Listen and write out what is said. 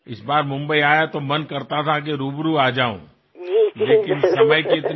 কিছুমান ঘৰত মিঠাই উভৈনদী হৈ নষ্ট হোৱাৰ উপক্ৰম হব আৰু কিছুমান ঘৰত শিশুসকলে মিঠাইৰ বাবে অপেক্ষা কৰি থাকিব